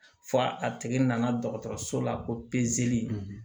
Fo a tigi nana dɔgɔtɔrɔso la ko pezeli